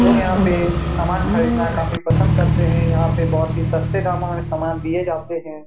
लोग यहाँ पे सामान खरीदना काफी पसंद करते हैं यहाँ पे बहुत ही सस्ते दामों में सामान दिए जाते हैं।